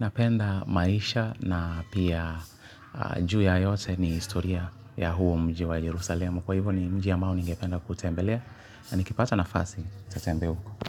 napenda maisha na pia juu ya yote ni historia ya huo mji wa Jerusalemu. Kwa hivyo ni mji amao ningependa kutembelea na nikipata nafasi tatembea uko.